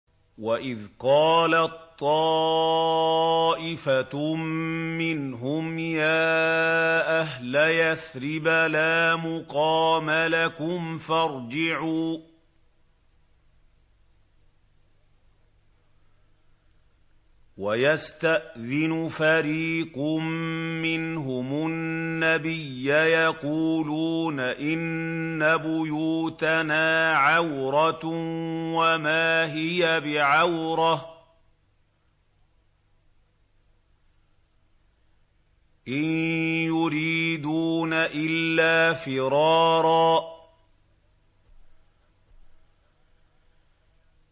وَإِذْ قَالَت طَّائِفَةٌ مِّنْهُمْ يَا أَهْلَ يَثْرِبَ لَا مُقَامَ لَكُمْ فَارْجِعُوا ۚ وَيَسْتَأْذِنُ فَرِيقٌ مِّنْهُمُ النَّبِيَّ يَقُولُونَ إِنَّ بُيُوتَنَا عَوْرَةٌ وَمَا هِيَ بِعَوْرَةٍ ۖ إِن يُرِيدُونَ إِلَّا فِرَارًا